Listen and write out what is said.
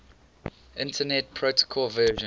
internet protocol version